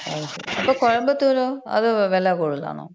അപ്പൊ കോയമ്പത്തൂരോ. അത് വില കൂടുതലാണോ?